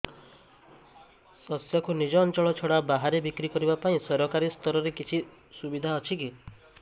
ଶସ୍ୟକୁ ନିଜ ଅଞ୍ଚଳ ଛଡା ବାହାରେ ବିକ୍ରି କରିବା ପାଇଁ ସରକାରୀ ସ୍ତରରେ କିଛି ସୁବିଧା ଅଛି କି